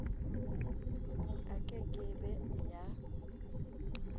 e ke ke be ya